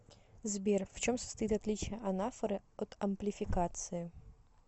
сбер в чем состоит отличие анафоры от амплификации